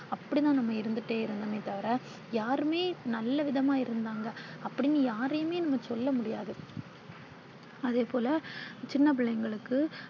அப்பிடித்தான் நாம இருந்துட்டே இருந்தோமே தவிர யாருமே நல்ல விதமா இருந்தாங்க அப்பிடினு யாரையுமே நாம சொல்ல முடியாது. அதேபோல சின்ன பிள்ளைங்களுக்கு